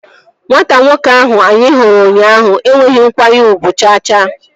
Nwata nwoke ahụ anyị hụrụ ụnyaahụ enweghị nkwanye ugwu cha cha